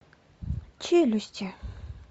челюсти